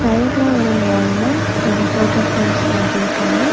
சைட்ல ஒரு வால்ல கொஞ்சம் ஃபோட்டோ ஃப்ரேம்ஸ் மாட்டிருக்காங்க.